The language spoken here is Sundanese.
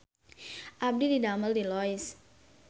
Abdi didamel di Lois